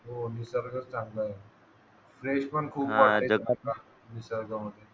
हो निसर्ग चांगला आहे फ्रेश पण खूप वाटते निसर्गामध्ये